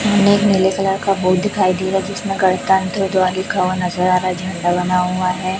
इनमे एक नीले कलर का बोर्ड दिखाई दे रहा जिसमें गणतंत्र द्वार लिखा हुआ नजर आ रहा है झंडा बना हुआ है।